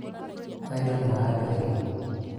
wendo nĩ wa andũ erĩ